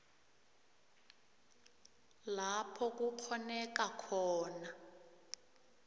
lapho kukghoneka khona